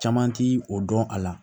Caman ti o dɔn a la